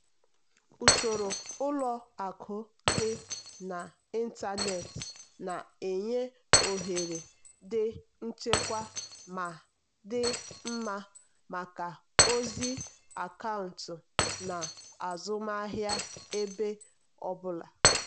usoro ụlọ akụ dị n'ịntanetị na-enye ohere dị nchekwa ma dị mma maka ozi akaụntụ na azụmahịa ebe ọ bụla.